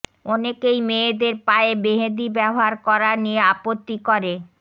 অনেকেই মেয়েদের পায়ে মেহেদি ব্যবহার করা নিয়ে আপত্তি করে